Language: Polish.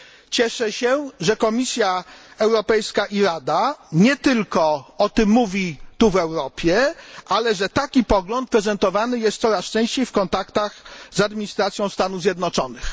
Cieszę się, że Komisja Europejska i Rada nie tylko o tym mówi tu w Europie, ale że taki pogląd prezentowany jest coraz częściej w kontaktach z administracją Stanów Zjednoczonych.